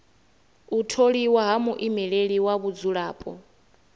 u tholiwa ha muimeleli wa vhadzulapo